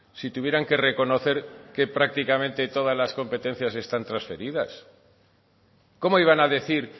si tuvieran que reconocer que prácticamente todas las competencias están trasferidas cómo iban a decir